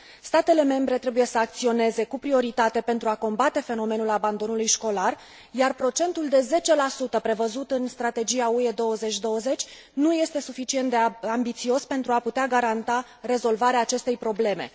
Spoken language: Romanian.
Statele membre trebuie să acționeze cu prioritate pentru a combate fenomenul abandonului școlar, dar procentul de 10 prevăzut în Strategia UE 2020 nu este suficient de ambițios pentru a putea garanta rezolvarea acestei probleme.